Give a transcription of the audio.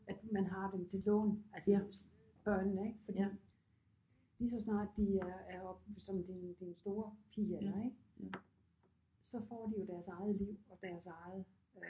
At man har dem til lån altså ens børnene ik fordi lige så snart de er er oppe som din din store pige i alder ik så får de jo deres eget liv og deres eget øh